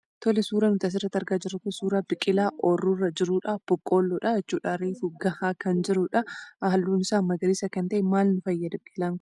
Tole, suurri asirratti argaa jirru kun suuraa biqilaa ooyiruurra jirudhaa. Boqqooloodha jechuudha. Reefu gahaa kan jirudhaa Halluun isaa magariisa kan ta'edhaa jechuudha maal nu fayyada biqilaan kun?